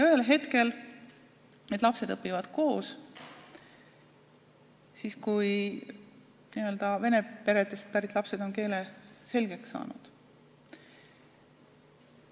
Ühel hetkel need lapsed õpivad koos, siis kui vene peredest pärit lapsed on eesti keele selgeks saanud.